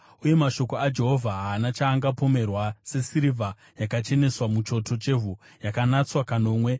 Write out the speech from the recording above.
Uye mashoko aJehovha haana chaangapomerwa, sesirivha yakacheneswa muchoto chevhu, yakanatswa kanomwe.